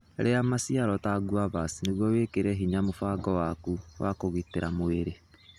Iria maciaro ta guavas nĩguo wĩkĩre hinya mũbango waku wa kũgitĩra mwĩrĩ.